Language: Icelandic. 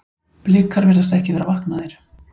Blikar virðast ekki vera vaknaðir.